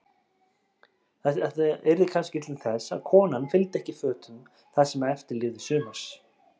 Þetta yrði kannski til þess að konan fylgdi ekki fötum það sem eftir lifði sumars.